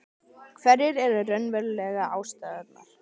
Hverjar eru raunverulegu ástæðurnar?